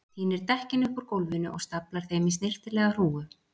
Tínir dekkin upp úr gólfinu og staflar þeim í snyrtilega hrúgu.